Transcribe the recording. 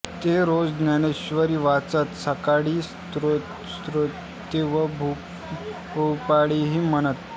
ते रोज ज्ञानेश्वरी वाचत सकाळी स्त्रोते व भुपाळ्याही म्हणत